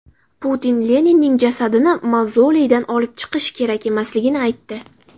Putin Leninning jasadini mavzoleydan olib chiqish kerak emasligini aytdi.